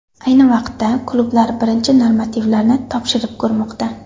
Ayni vaqtda klublar birinchi normativlarni topshirib ko‘rmoqda.